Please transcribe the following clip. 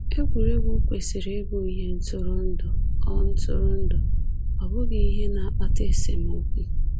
Egwuregwu kwesịrị ịbụ ihe ntụrụndụ, ọ ntụrụndụ, ọ bụghị ihe na-akpata esemokwu.